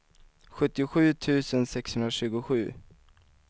sjuttiosju tusen sexhundratjugosju